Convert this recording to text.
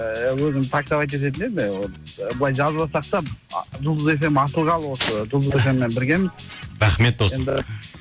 ііі өзім таксовать ететін едім былай жазбасақ та жұлдыз фм ашылғалы осы жұлдыз фм мен біргеміз рахмет досым